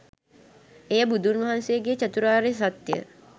එය බුදුන් වහන්සේගේ චතුරාර්ය සත්‍ය